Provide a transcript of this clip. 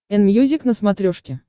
энмьюзик на смотрешке